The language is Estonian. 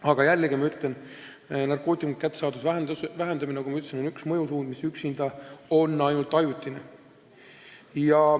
Aga jällegi, narkootikumide kättesaadavuse vähendamine, nagu ma ütlesin, on üks mõjusuund, üksinda mõjub see ainult ajutiselt.